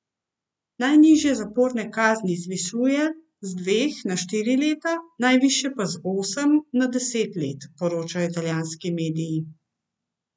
Najnižje zaporne kazni zvišuje z dveh na štiri leta, najvišje pa z osem na deset let, poročajo italijanski mediji.